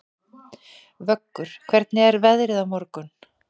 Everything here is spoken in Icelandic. Vöggur, hvernig er veðrið á morgun?